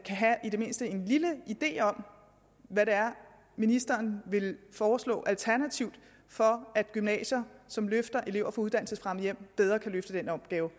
have i det mindste en lille idé om hvad det er ministeren vil foreslå alternativt for at gymnasier som løfter elever fra uddannelsesfremmede hjem bedre kan løfte den opgave